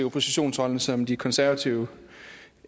oppositionsrollen som de konservative